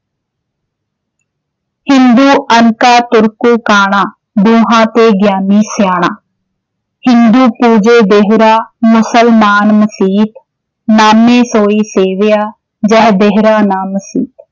ਹਿੰਦੂ ਅੰਨਾ ਤੁਰਕੂ ਕਾਣਾ ॥ ਦੁਹਾਂ ਤੇ ਗਿਆਨੀ ਸਿਆਣਾ ਹਿੰਦੂ ਪੂਜੈ ਦੇਹੁਰਾ ਮੁਸਲਮਾਣੁ ਮਸੀਤਿ ॥ ਨਾਮੇ ਸੋਈ ਸੇਵਿਆ ਜਹ ਦੇਹੁਰਾ ਨ ਮਸੀਤਿ